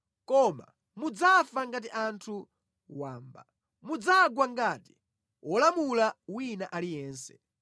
Koma mudzafa ngati anthu wamba; mudzagwa ngati wolamula wina aliyense.”